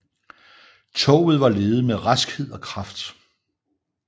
Toget var ledet med raskhed og kraft